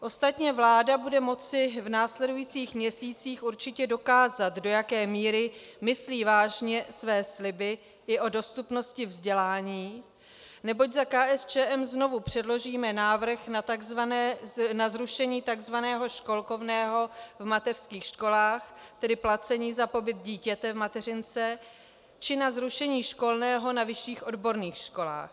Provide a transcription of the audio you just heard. Ostatně vláda bude moci v následujících měsících určitě dokázat, do jaké míry myslí vážně své sliby i o dostupnosti vzdělání, neboť za KSČM znovu předložíme návrh na zrušení tzv. školkovného v mateřských školách, tedy placení za pobyt dítěte v mateřince, či na zrušení školného na vyšších odborných školách.